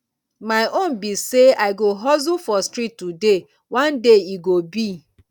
my own be say i go hustle for street today one day e go be